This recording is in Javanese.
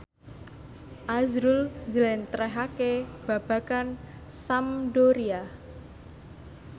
azrul njlentrehake babagan Sampdoria